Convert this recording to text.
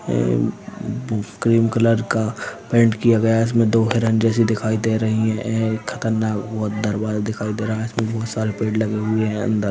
M cream colour का paint किया गया है इसमे दो हिरन जैसे दिखाई दे रहे है एक खतरनाक दरवाज़ा दिखाई दे रहा है इसमे बहुत सारे पेड़ लगे हुए है अंदर।